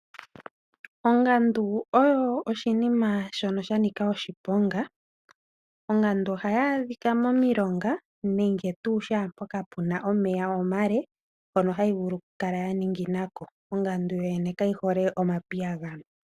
Ongandu oyo oshinima sha nika oshiponga. Ongandu ohayi adhika momilonga nenge tuu shaampono pu na omeya omale mpono hayi vulu okukala ya ningina ko. Ongandu yo yene kayi hole omapiyagano.